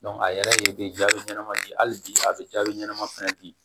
a yɛrɛ ye jaabi ɲɛnama di hali bi a bɛ jaabi ɲɛnama fana di